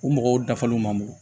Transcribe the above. U mɔgɔw dafalenw man mugu